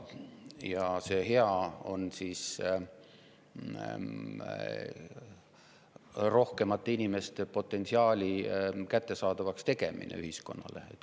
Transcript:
Ja see hea on rohkemate inimeste potentsiaali kättesaadavaks tegemine ühiskonnale.